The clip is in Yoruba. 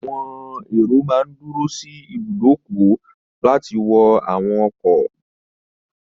Àwọn èrò máa n dúró sí ibùdókọ̀ láti wọ àwọn ọkọ̀